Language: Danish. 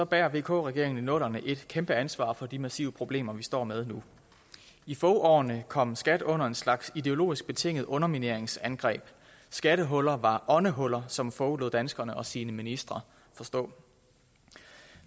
bærer vk regeringen i nullerne et kæmpe ansvar for de massive problemer vi står med nu i foghårene kom skat under en slags ideologisk betinget undermineringsangreb skattehuller var åndehuller som fogh lod danskerne og sine ministre forstå